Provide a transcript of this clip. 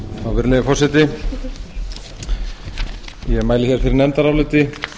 virðulegi forseti ég mæli byrji nefndaráliti um